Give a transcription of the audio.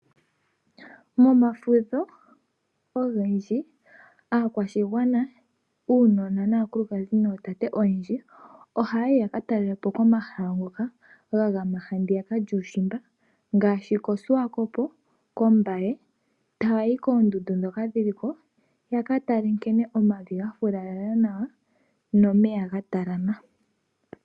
Momafudho ogendji aakwashigwana uunona naakulukadhi nootate oyendji oha yayi ya katalelapo komahala ngoka ga gama handiya lyuushimba ngaashi koshiwakopo ,Kombaye tayayi koondundu ndhoka dhiliko yaka tale omavi ga filala nawa nomeya ga talama.